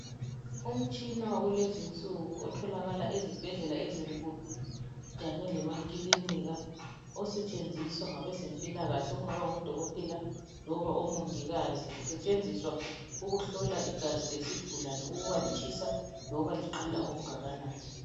Umtshina kulezinsuku otholakala ezibhedlela ezinkulu kanye lemakilinika osetshenziswa ngabezempilakahle okungabangodokothela loba omongikazi osetshenziswa ukuhlola igazi lesigulane ukubalitshisa loba liqanda okungakanani